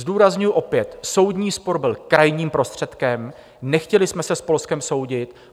Zdůrazňuji opět, soudní spor byl krajním prostředkem, nechtěli jsme se s Polskem soudit.